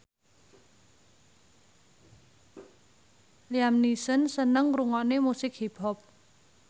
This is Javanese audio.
Liam Neeson seneng ngrungokne musik hip hop